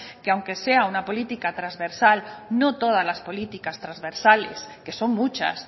que aunque sea una política trasversal no todas las políticas trasversales que son muchas